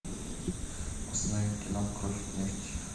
установи кино кровь нефть